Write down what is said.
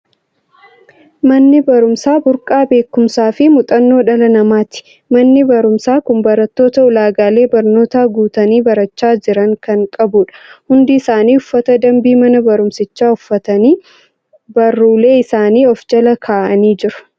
Manni barumsaa burqaa beekumsaa fi muuxannoo dhala namaati. Manni barumsaa kun barattoota ulaagaalee barnootaa guutanii barachaa jiran kan qabudha. Hundi isaanii uffata dambii mana barumsichaa uffatanii, baruulee isaanii of jala kaa'anii jiru.